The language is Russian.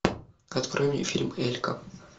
открой мне фильм элька